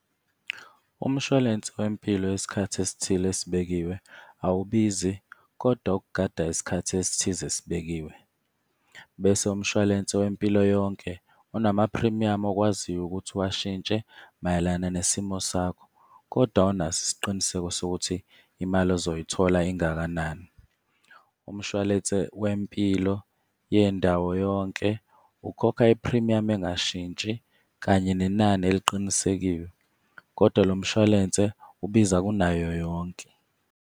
Umshwalense wempilo wesikhathi esithile esibekiwe awubizi kodwa ukugada isikhathi esithize esibekiwe. Bese umshwalense wempilo yonke unamaphrimiyamu okwaziyo ukuthi uwashintshe mayelana nesimo sakho, kodwa awunaso isiqiniseko sokuthi imali ozoyithola engakanani. Umshwalense wempilo yendawo yonke ukhokha iphrimiyamu engashintshi kanye nenani eliqinisekiwe, kodwa lo mshwalense ubiza kunayo yonke.